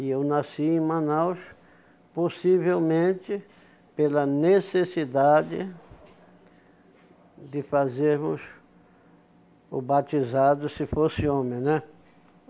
E eu nasci em Manaus, possivelmente pela necessidade de fazermos o batizado se fosse homem, né?